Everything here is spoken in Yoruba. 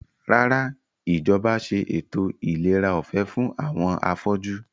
Rárá, Ìjọba ṣe ètò ìlera ọ̀fẹ́ fún àwọn afọ́jú